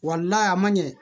a man ɲɛ